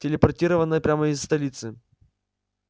телепортировано прямо из столицы